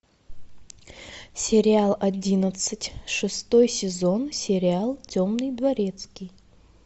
сериал одиннадцать шестой сезон сериал темный дворецкий